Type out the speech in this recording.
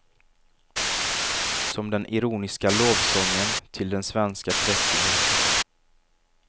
Som den ironiska lovsången till den svenska präktigheten.